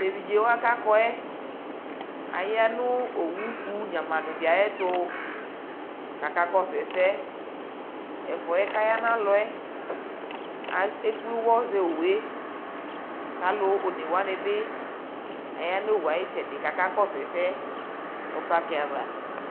tɛ ɛvidzɛ wa kʋ akɔɛ aya nʋ ɔwʋ kʋ nyamadʋ di ayɛtʋ kʋ aka kɔsʋ ɛsɛ, ɛfʋɛ kʋ ayanʋ alɔɛ, ɛkplɛ ʋwɔ zɛ ɔwʋɛ kʋ alʋ ɔnɛ wanibi ayanʋ ɔwʋɛ ayi ɛtsɛdɛ kʋ aka kɔsʋ ɛsɛ nʋ parki aɣa